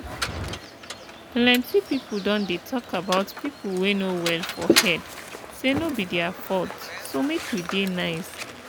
pelenty people don dey talk about people wey no well for head say no be their faulth so make we dey nice.